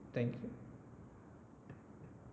Thank you